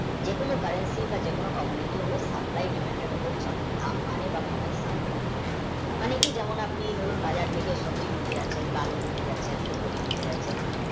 যে কোনো currency বা যে কোনো commodity হোক applied নিয়মিত দাম বাড়ে বা কমে supply, demand অনেকে যেমন আছেন বাজার থেকে সবজি কিনে রাখেন ডাল রাখেন রাখেন